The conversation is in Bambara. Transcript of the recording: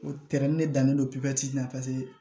O tɛrɛn de dannen don pipiniyɛri la paseke